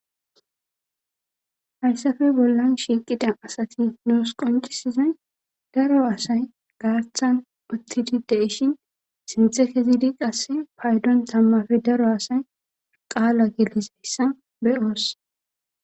hayssafe bollan shiiqida asati noos qoncisizay daro asay gaathan uttididi ishin sinthekezidi qasse paydon tammafe daro asay qaala gelizayssa beyoos.